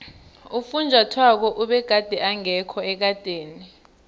ufunjathwako begade engekho ekadeni